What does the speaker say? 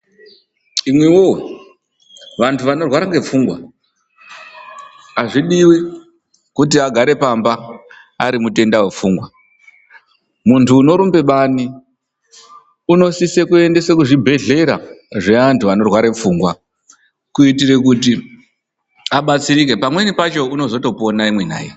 Imwi woye! Vantu vanorwara ngepfungwa azvidiwi kuti agare pamba ari mutenda wepfungwa. Muntu unorumbe bani unosise kuendeswe kuzvibhedhlera zveantu anorware pfungwa, kuitire kuti abatsirike. Pamweni pacho unozotopona imwi nai.